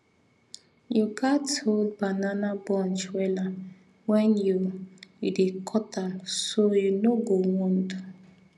you gatz hold banana bunch wella when you you dey cut am so you no go wound